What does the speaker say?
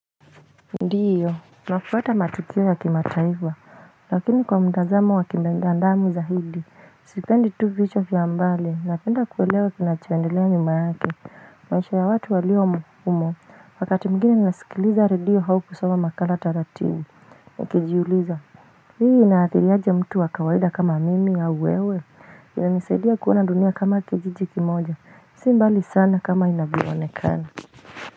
Ndio nafuata matukio ya kimataifa lakini kwa mtazamo wa kimenda ndamu za hidi sipendi tu vichwa vya hambali na penda kuelewa kinacho endelea nyuma yake maisha ya watu walio umo wakati mwingine ninasikiliza redio hau kusoma makala taratibu ukijiuliza hii inathiri aje mtu wa kawaida kama mimi au wewe inanisaidia kuona dunia kama kijiji kimoja si mbali sana kama inavyoonekana.